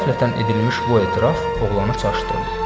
Qəflətən edilmiş bu etiraf oğlanı çaşdırdı.